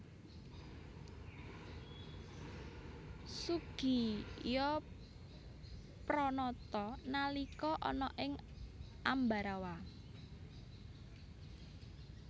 Soegijapranata nalika ana ing Ambarawa